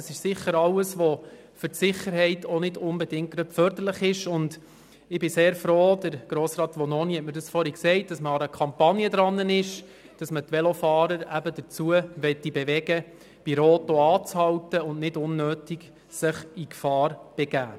Das alles ist für die Sicherheit nicht unbedingt förderlich, und ich bin sehr froh, dass man an einer Kampagne arbeitet, mit der man die Velofahrer dazu bewegen möchte, bei Rot auch anzuhalten und sich nicht unnötig in Gefahr zu begeben.